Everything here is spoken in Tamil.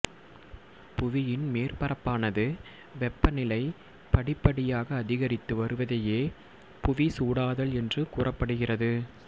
புவியின் மேற்பரப்பானது வெப்பநிலை படிப்படியாக அதிகரித்து வருவதையே புவி சூடாதல் என்று கூறப்படுகிறது